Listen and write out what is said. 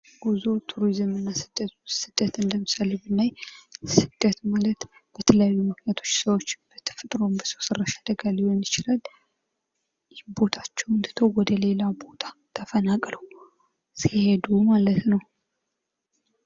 ጉዞ፣ ቱሪዝም እና ስደት፤ ስደትን ለምሳሌ ብናይ ስደት ማለት በተለያዩ ምክንያቶች ሰዎች በተፈጥሮም፣ በሰው ሰራሽም አደጋ ሊሆን ይችላል ቦታቸውን ተተው ወደሌላ ቦታ ተፈናቅለው ሲሄዱ ማለት ነው።